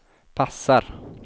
passar